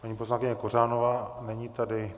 Paní poslankyně Kořanová, není tady.